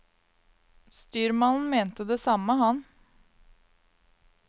Styrmannen mente det samme, han.